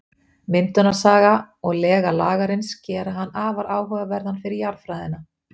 Myndunarsaga og lega Lagarins gera hann afar áhugaverðan fyrir jarðfræðina.